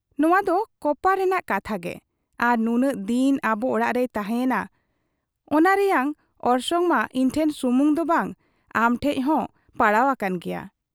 ᱱᱚᱶᱟᱫᱚ ᱠᱚᱯᱟᱲ ᱨᱮᱱᱟᱜ ᱠᱟᱛᱷᱟ ᱜᱮ ᱟᱨ ᱱᱩᱱᱟᱹᱜ ᱫᱤᱱ ᱟᱵᱚ ᱚᱲᱟᱜ ᱨᱮᱭ ᱛᱟᱦᱮᱸ ᱮᱱᱟ, ᱚᱱᱟ ᱨᱮᱭᱟᱝ ᱚᱨᱥᱚᱝ ᱢᱟ ᱤᱧᱴᱷᱮᱱ ᱥᱩᱢᱩᱝ ᱫᱚ ᱵᱟᱝ ᱟᱢ ᱴᱷᱮᱫ ᱦᱚᱸ ᱯᱟᱲᱟᱣ ᱟᱠᱟᱱ ᱜᱮᱭᱟ ᱾